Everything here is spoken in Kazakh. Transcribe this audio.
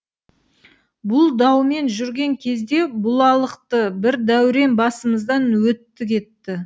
бұл даумен жүрген кезде бұлалықты бір дәурен басымыздан өтті кетті